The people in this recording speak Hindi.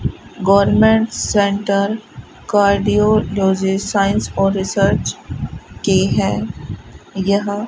गवर्नमेंट सेंटर कार्डियोलॉजी साइंस और रिसर्च की है यह --